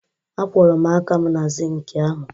Akwọrọ m aka m na sịịnkị ahụ